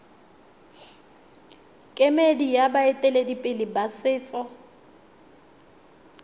kemedi ya baeteledipele ba setso